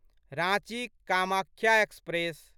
Ranchi Kamakhya express